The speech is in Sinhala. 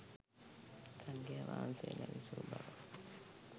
සංඝයාවහන්සේලා විසූ බව